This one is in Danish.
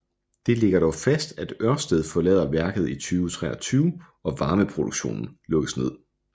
Det ligger dog fast at Ørsted forlader værket i 2023 og varmeproduktionen lukkes ned